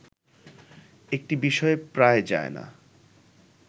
একটি বিষয়ে প্রায় যায় না